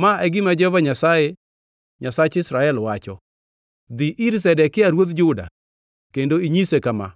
“Ma e gima Jehova Nyasaye, Nyasach Israel, wacho: Dhi ir Zedekia ruodh Juda kendo inyise kama,